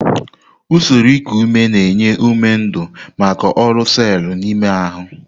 Usoro iku ume na-enye ume ndu maka ọrụ selu n'ime ahụ.